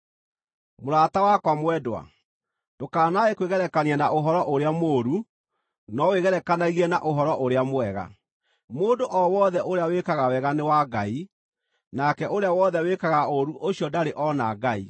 Mũrata wakwa mwendwa, ndũkanae kwĩgerekania na ũhoro ũrĩa mũũru, no wĩgerekanagie na ũhoro ũrĩa mwega. Mũndũ o wothe ũrĩa wĩkaga wega nĩ wa Ngai. Nake ũrĩa wothe wĩkaga ũũru ũcio ndarĩ ona Ngai.